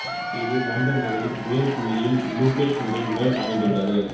இது இலண்டன் நகரின் உயர் புள்ளியில் லுகேட் குன்றின் மேல் அமைந்து உள்ளது